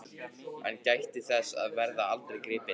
Hann gæti þess að verða aldrei gripinn.